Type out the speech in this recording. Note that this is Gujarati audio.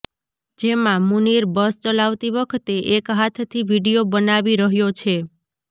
જેમાં મુનીર બસ ચલાવતી વખતે એક હાથથી વીડિયો બનાવી રહ્યો છે